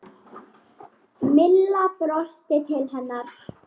Milla brosti til hennar.